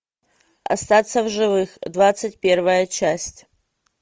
остаться в живых двадцать первая часть